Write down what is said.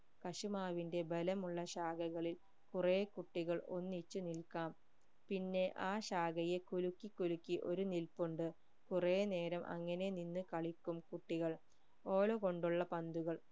കശുമാവിന്റെ ബലമുള്ള ശാഖകളിൽ കുറെ കുട്ടികൾ ഒന്നിച്ചു നിൽക്കാം പിന്നെ ആ ശാഖയെ കുലുക്കി കുലുക്കി ഒരു നിൽപ്പുണ്ട് കുറെ നേരം അങ്ങനെ നിന്ന് കളിക്കും കുട്ടികൾ ഓല കൊണ്ടുള്ള പന്തുകൾ